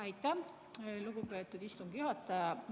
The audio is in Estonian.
Aitäh, lugupeetud istungi juhataja!